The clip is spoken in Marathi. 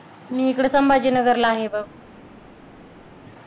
मी इकडं संभाजीनगरला आहे बघ